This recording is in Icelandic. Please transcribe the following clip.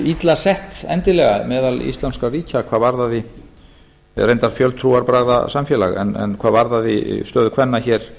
illa sett endilega meðal íslamskra ríkja hvað varðaði eða reyndar fjöltrúarbragðasamsamfélaga en hvað varðaði stöðu kvenna hér